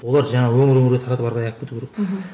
олар жаңағы өңір өңірге жаңағы таратып ары қарай алып кету керек мхм